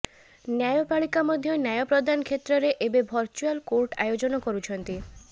ନ୍ୟାୟପାଳିକା ମଧ୍ୟ ନ୍ୟାୟ ପ୍ରଦାନ କ୍ଷେତ୍ରରେ ଏବେ ଭର୍ଚୁଆଲ କୋର୍ଟ ଆୟୋଜନ କରୁଛନ୍ତି